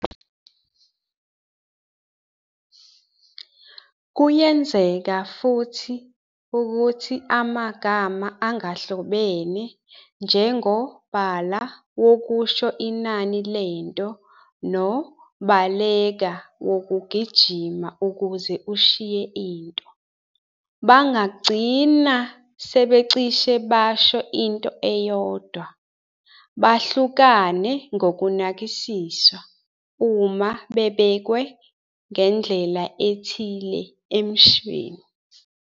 Kuyenzeka futhi ukuthi amagama angahlobene njengo-bala wokusho inani lento no-baleka, wokugijima ukuze ushiye into, bangagcina sebecishe basho into eyodwa, behlukane ngokunakisiswa, uma bebekwe ngendlela ethile emshweni."